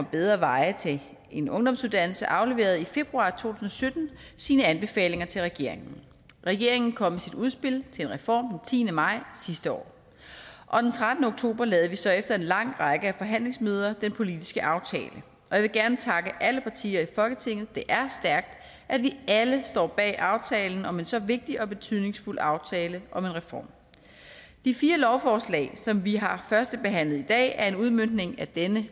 bedre veje til en ungdomsuddannelse afleverede i februar to tusind og sytten sine anbefalinger til regeringen regeringen kom med sit udspil til en reform den tiende maj sidste år og den trettende oktober lavede vi så efter en lang række forhandlingsmøder den politiske aftale jeg vil gerne takke alle partier i folketinget for det er stærkt at vi alle står bag aftalen om en så vigtig og betydningsfuld aftale om en reform de fire lovforslag som vi har førstebehandlet i dag er en udmøntning af denne